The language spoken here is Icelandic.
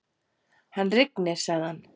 Hann rignir, sagði hann.